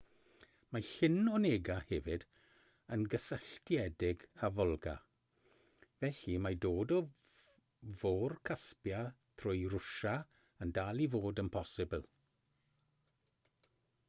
mae llyn onega hefyd yn gysylltiedig â volga felly mae dod o fôr caspia trwy rwsia yn dal i fod yn bosibl